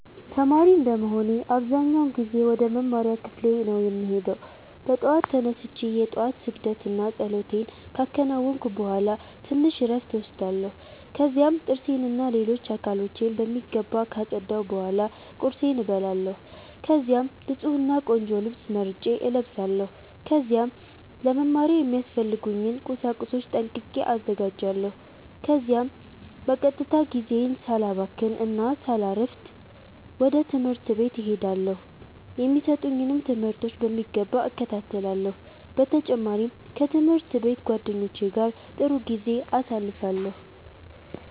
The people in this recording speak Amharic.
ተማሪ እንደመሆኔ አብዛኛውን ጊዜ ወደ መማሪያ ክፍሌ ነው የምሄደው። በጠዋት ተነስቼ የ ጧት ስግደት እና ፀሎቴን ካከናወንኩ ቡሃላ ትንሽ እረፍት እወስዳለሁ። ከዚያም ጥርሴን እና ሌሎች አካሎቼን በሚገባ ካፀዳሁ ቡሃላ ቁርሴን እበላለሁ። ከዚያም ንፁህ እና ቆንጆ ልብስ መርጬ እለብሳለው። ከዚያም ለ መማሪያ የሚያስፈልጉኝን ቁሳቁሶች ጠንቅቄ አዘጋጃለሁ። ከዚያም በቀጥታ ጊዜዬን ሳላባክን እና ሳላሰፍድ ወደ ትምህርት ቤት እሄዳለው። የሚሰጡኝንም ትምህርቶች በሚገባ እከታተላለሁ። በ ተጨማሪም ከ ትምህርት ቤት ጓደኞቼ ጋ ጥሩ ጊዜ አሳልፋለሁ።